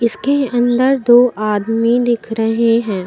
इसके अंदर दो आदमी दिख रहे हैं।